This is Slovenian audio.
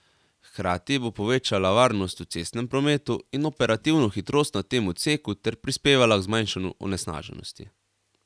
Hkrati bo povečala varnost v cestnem prometu in operativno hitrost na tem odseku ter prispevala k zmanjšanju onesnaženosti.